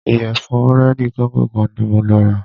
Ìyẹ̀fun búrẹ́dì kóńgò kan ní mo lọ rà.